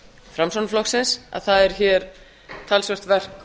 framsóknarflokksins að það er hér talsvert verk